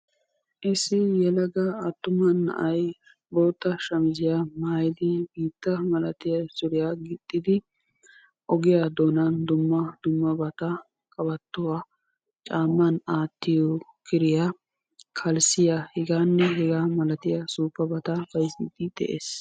Issi yelaga attuma na'ayi bootta shamiziya maayidi biitta malatiya suriya gixxidi ogiya doonan dumma dummabata qabattuwa caamman aattiyo kiriya kalssiya hegaanne hegaa malatiya suuppabata bayzziiddi de'es.